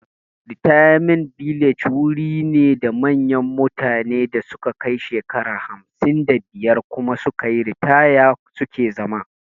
Ritayament bilaje wuri ne da manyan mutane da su ka kai shekaru hamsin da biyar kuma sukayi ritaya suke zama